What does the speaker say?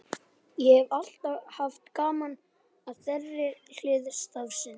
Ég hef alltaf haft gaman af þeirri hlið starfsins.